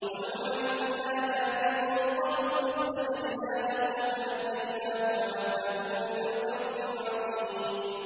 وَنُوحًا إِذْ نَادَىٰ مِن قَبْلُ فَاسْتَجَبْنَا لَهُ فَنَجَّيْنَاهُ وَأَهْلَهُ مِنَ الْكَرْبِ الْعَظِيمِ